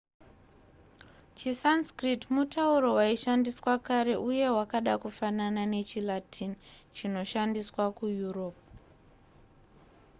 chisanskrit mutauro waishandiswa kare uye wakada kufanana nechilatin chinoshandiswa kueurope